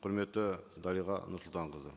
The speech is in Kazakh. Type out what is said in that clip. құрметті дариға нұрсұлтанқызы